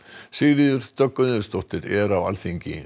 Sigríður Dögg Auðunsdóttir er á Alþingi